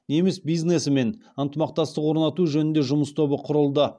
неміс бизнесімен ынтымақтастық орнату жөнінде жұмыс тобы құрылды